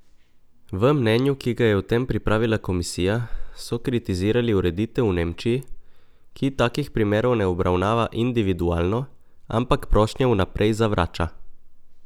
V mnenju, ki ga je o tem pripravila komisija, so kritizirali ureditev v Nemčiji, ki takih primerov ne obravnava individualno, ampak prošnje vnaprej zavrača.